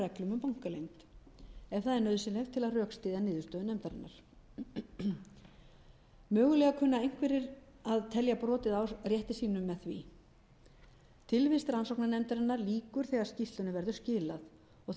reglum um bankaleynd en það er nauðsynlegt til að rökstyðja niðurstöðu nefndarinnar mögulega kunna einhverjir að telja brotið á rétti sínum með því tilvist rannsóknarnefndarinnar lýkur þegar skýrslunni verður skilað og